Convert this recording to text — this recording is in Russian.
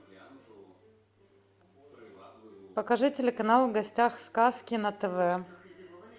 покажи телеканал в гостях сказки на тв